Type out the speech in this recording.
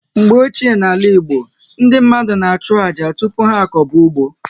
Mgbe ochie n'ala Igbo, ndị mmadụ na achụ àjà tupu ha akoba ụgbọ